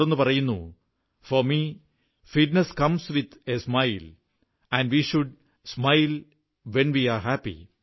തുടർന്നു പറയുന്നു for me fitness comes with a smiles and we should smile when we are happy